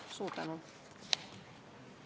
Suur tänu!